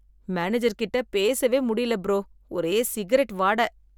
Manager கிட்ட பேசவே முடியல ப்ரோ, ஒரே சிகரெட் வாட.